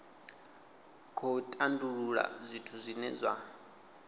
khou tandulula zwithu zwine zwa